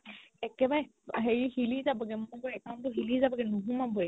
একেবাৰে হেৰি হিলি যাবগে এমোকৰ account তো হিলি যাবগে নোসোমাবয়ে